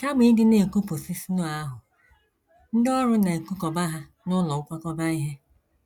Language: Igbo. Kama ịdị na - ekupụsị snow ahụ, ndị ọrụ na - ekukọba ha n’ụlọ nkwakọba ihe.